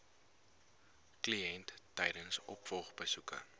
kliënt tydens opvolgbesoeke